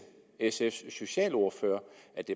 sfs socialordfører